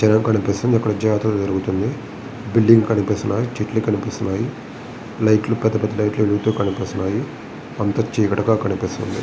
జనం కనిపిస్తుంది అక్కడ ఒక జాతర జరుగుతుంది బిల్డింగ్ కనిపిస్తున్నాయి చెట్లు కనిపిస్తున్నాయి లైట్ లు పెద్ధ పెద్ధ లైట్ లు ఎలుగుతూ కనిపిస్తున్నాయి అంతా చీకటిగా కనిపిస్తుంది.